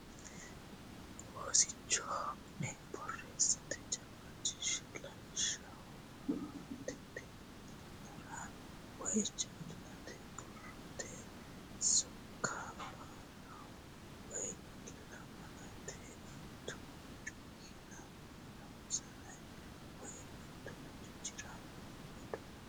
Oosicho ne borreessate jawaachishshe lawishshaho maatete miillara woy jaallate borrote sokka barraho woy lamalate tuncu yiinonsare woy mitturichire hedonsa borreessitanno gede assate.